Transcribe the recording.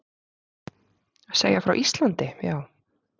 Segja frá Íslandi, já.